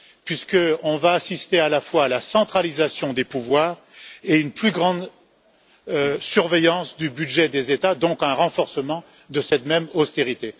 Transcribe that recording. puisqu'on va assister à la fois à la centralisation des pouvoirs et à une plus grande surveillance du budget des États, donc à un renforcement de cette même austérité.